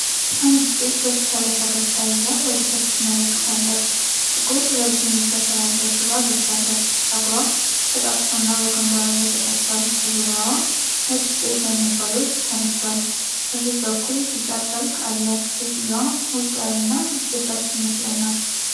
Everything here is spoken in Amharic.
አንዲት ሴት በፊቷ ላይ ፈገግታ ይዛ ወደ ታች ትመለከታለች። ጥቁር ረዥም እጀታ ያለው ሹራብ ለብሳለች። ፀጉሯ ተጣጥፎና በግንባርዋ ላይ ተሰርቷል። በዙሪያዋ ነጭ ጭስ ወይም እንፋሎት ተነፍቶአል። ከሥር በኩል ቢጫ ጨርቅ አለ። ሴትየዋ ሞቅ ያለና አስደሳች ስሜት ላይ ናት።